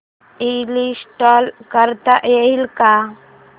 install करता येईल का